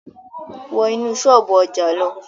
Wọ́ inú ṣọ́ọ̀bú ọjà lọ!